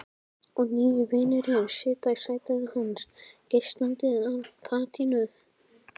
Og nýi vinurinn situr í sætinu hans, geislandi af kátínu.